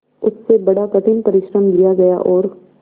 उससे बड़ा कठिन परिश्रम लिया गया और